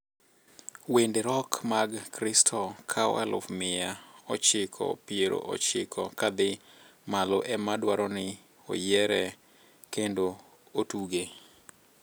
wende rock mag kikristo koa aluf mia ochiko pier ochiko kadhii malo ema dwaroni oyiere kendo otuge